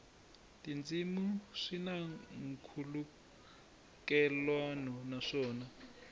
tindzimana swi na nkhulukelano naswona